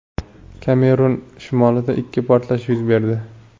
Kamerun shimolida ikki portlash yuz berdi.